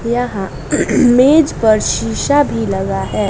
यह मेज पर शीशा भी लगा है।